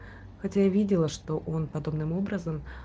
хотя я видела что он подобным образом